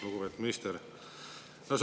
Lugupeetud minister!